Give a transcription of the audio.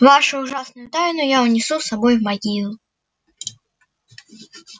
вашу ужасную тайну я унесу с собой в могилу